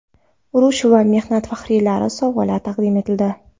Urush va mehnat faxriylariga sovg‘alar taqdim etildi.